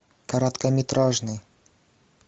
короткометражный